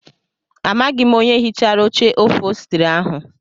Amaghị m onye hichara oche ofostri ahụ.